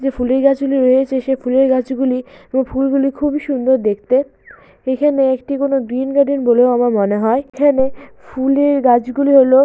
যেই ফুলের গাছগুলি রয়েছে সেই ফুলের গাছগুলি ওই ফুলগুলি খুবই সুন্দর দেখতে। এখানে একটি কোন গার্ডেন বলেও আমার মনে হয়। এখানে ফুলের গাছ গুলি হল --